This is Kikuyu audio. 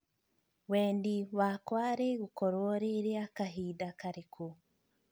wendi wakwa rigūkorwo rī rīa kahinda karīku